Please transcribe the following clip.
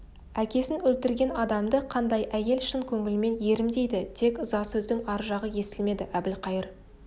әкесін өлтірген адамды қандай әйел шын көңілімен ерім дейді тек ыза сөздің ар жағы естілмеді әбілқайыр